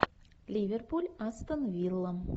ливерпуль астон вилла